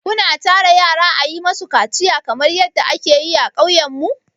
Ku na tara yara a yi ma su kaciya kamar yadda a ke yi a ƙauyen mu?